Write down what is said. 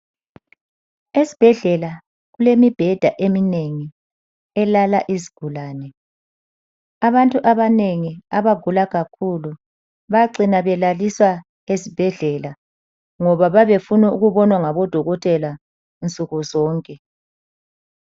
Esibhedlela kulemibheda eminengi elala izigulane. Abantu abanengi abagula kakhulu bacina belaliswa esibhedlela ngoba bayabefuna ukubonwa ngodokotela nsukuzonke.